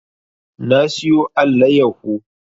Na siyo allayaho